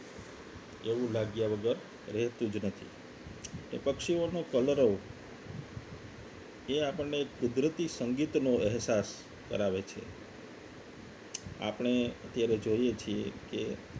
એવું લાગ્યા વગર રહેતું જ નથી કે પક્ષીઓનો કલર એ આપણને એક કુદરતી સંગીતનો અહેસાસ કરાવે છે આપણે અત્યારે જોઈએ છીએ કે